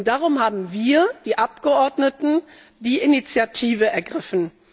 Darum haben wir, die Abgeordneten, die Initiative ergriffen.